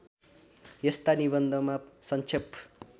यस्ता निबन्धमा सङ्क्षेप